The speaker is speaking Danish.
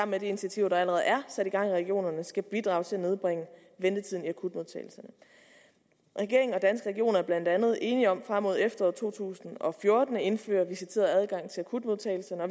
med de initiativer der allerede er sat i gang i regionerne skal bidrage til at nedbringe ventetiden i akutmodtagelserne regeringen og danske regioner er blandt andet enige om frem mod efteråret to tusind og fjorten at indføre visiteret adgang til akutmodtagelserne og